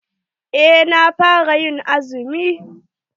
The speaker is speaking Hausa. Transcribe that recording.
Eh na fara yin azumi.